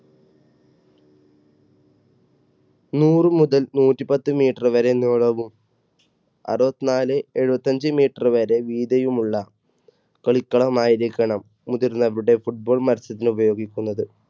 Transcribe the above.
നൂറ് മുതൽ നൂറ്റിപത്ത് meter വരെ നീളവും അറുപത്തിനാല് എഴുപത്തഞ്ച് meter വരെ വീതിയുമുള്ള കളിക്കളം ആയിരിക്കണം മുതിർന്നവരുടെ football മത്സരത്തിന് ഉപയോഗിക്കുന്നത്.